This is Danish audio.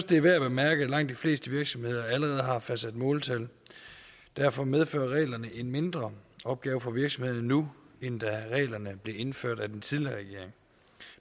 det er værd at bemærke at langt de fleste virksomheder allerede har fastsat måltal derfor medfører reglerne en mindre opgave for virksomhederne nu end da reglerne blev indført af den tidligere regering